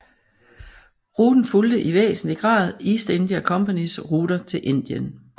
Ruten fulgte i væsentlig grad East India Companys ruter til Indien